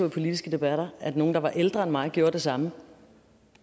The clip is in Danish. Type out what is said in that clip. i politiske debatter at nogle der var ældre end mig gjorde det samme